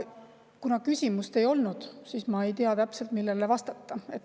Kuna küsimust ei olnud, siis ma ei tea täpselt, millele vastata.